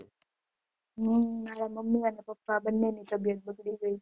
હમ મારા મામી અને પપ્પા બંને ની તબીયત બગડી ગઈ હતી